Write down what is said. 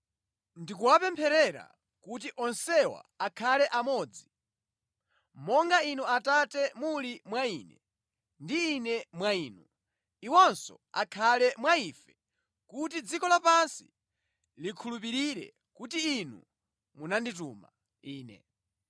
Ndikuwapempherera kuti onsewa akhale amodzi. Monga Inu Atate muli mwa Ine ndi Ine mwa Inu, iwonso akhale mwa Ife kuti dziko lapansi likhulupirire kuti Inu munandituma Ine.